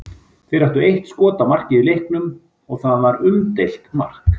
Þeir áttu eitt skot á markið í leiknum og það var umdeilt mark.